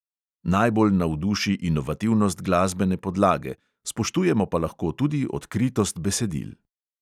Najbolj navduši inovativnost glasbene podlage, spoštujemo pa lahko tudi odkritost besedil.